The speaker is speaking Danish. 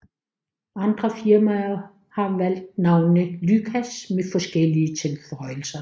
Andre firmaer har valgt navnet lygas med forskellige tilføjelser